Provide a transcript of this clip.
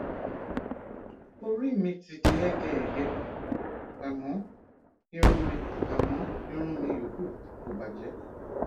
orí mi ti di hẹgẹhẹgẹ àmọ irun mi àmọ irun mi yòókù kò bàjẹ